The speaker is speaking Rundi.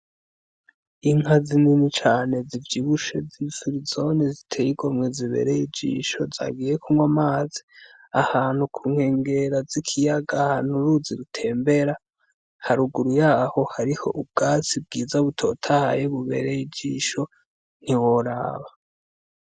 Inka zinini cane z'ivyibushe z'ifirizone ziteye igomwe zibereye ijisho zagiye kunywa amazi ahantu kunkengera z'ikiyaga ahantu uruzi rutembera haruguru yaho hariho ubwatsi bwiza butotahaye bubereye ijisho ntiworaba.